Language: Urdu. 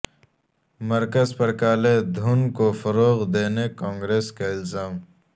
مرکز پر کالے دھن کو فروغ دینے کانگریس کا الزام